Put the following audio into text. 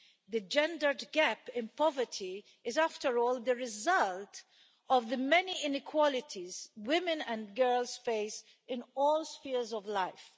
The gender gap in poverty is, after all, the result of the many inequalities women and girls face in all spheres of life.